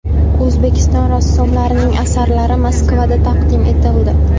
O‘zbekiston rassomlarining asarlari Moskvada taqdim etildi.